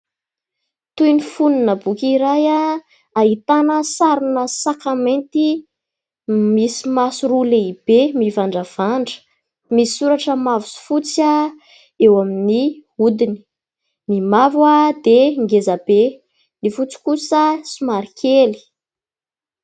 Toy ny fonona boky iray ahitana sarina saka mainty, misy maso roa lehibe mivandravandra. Misy soratra mavo sy fotsy eo amin'ny hodiny : ny mavo dia ngeza be, ny fotsy kosa somary kely.